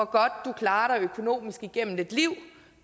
godt du klarer dig økonomisk igennem et liv